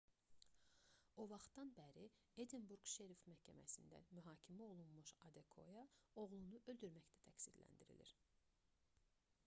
o vaxtdan bəri edinburq şeriff məhkəməsində mühakimə olunmuş adekoya oğlunu öldürməkdə təqsirləndirilir